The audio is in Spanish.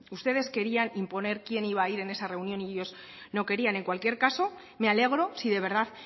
ustedes querían imponer quién iba a ir en esa reunión y ellos no querían en cualquier caso me alegro si de verdad